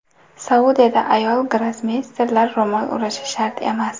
Saudiyada ayol grossmeysterlar ro‘mol o‘rashi shart emas.